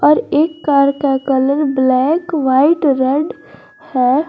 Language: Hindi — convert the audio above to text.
एक कार का कलर ब्लैक व्हाइट रेड है।